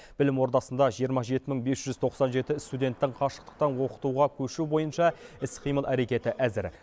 білім ордасында жиырма жеті мың бес жүз тоқсан жеті студенттің қашықтықтан оқытуға көшу бойынша іс қимыл әрекеті әзір